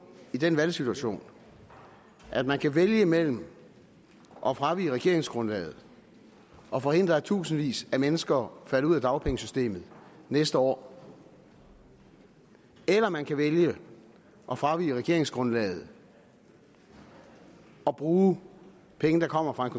i den valgsituation at man kan vælge imellem at fravige regeringsgrundlaget og forhindre at tusindvis af mennesker falder ud af dagpengesystemet næste år eller man kan vælge at fravige regeringsgrundlaget og bruge penge der kommer fra en